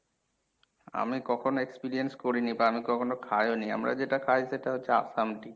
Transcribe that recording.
আমি কখনো experience করি নি বা আমি কখেনো খাইও নি আমরা যেটা খাই সেটা হচ্ছে আসাম tea.